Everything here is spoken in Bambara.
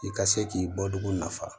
I ka se k'i bɔ dugu nafa